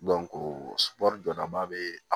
jɔdaba be